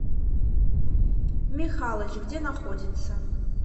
михалыч где находится